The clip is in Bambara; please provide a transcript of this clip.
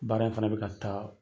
Baara in fana be ka taa